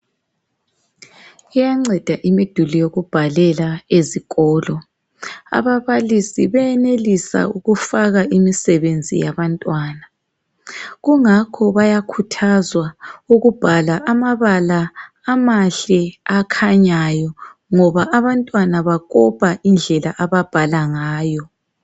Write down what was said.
Iyanceda imiduli yokubhalela ezikolo, ababalisi beyenelisa ukufaka imisebenzi yabantwana .Kungakho bayakhuthazwa ukubhala amabala amahle akhanyayo .Ngoba abantwana bakopa indlela ababhala ngayo.